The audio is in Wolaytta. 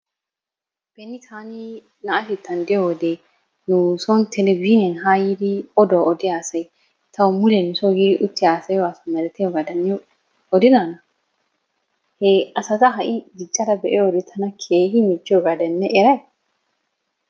Beni taani naatettan diyo wode nuson televizhiiniyan haa yiidi oduwa odiya asayi tawu mule nusoo yiidi utti haasayiyo haasaya malatiyabata niyo odidanaa? He asata ha'i ta diccada be'iyo wode keehi michchiyogaadan ne erayi?